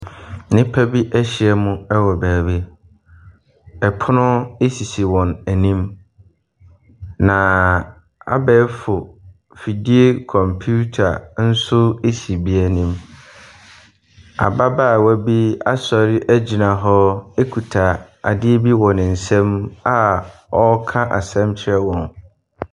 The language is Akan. Nnipa bi ahyia mu wɔ baabi, pono sisi wɔn anim na abɛɛfo afidie computer nso si ebi anim. Ababaawa bi asɔre agyina hɔ kuta adeɛ bi wɔ ne nsam a ɔreka asɛm wɔ ne nsam.